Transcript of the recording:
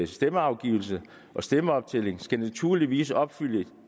stemmeafgivelse og stemmeoptælling skal naturligvis opfylde